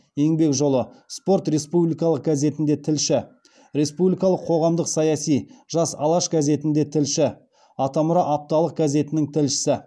еңбек жолы спорт республикалық газетінде тілші республикалық қоғамдық саяси жас алаш газетінде тілші атамұра апталық газетінің тілшісі